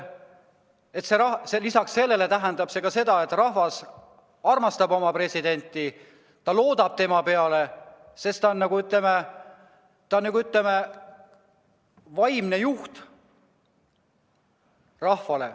Lisaks tähendab see seda, et rahvas armastab oma presidenti, ta loodab tema peale, sest ta on nagu, ütleme, rahva vaimne juht.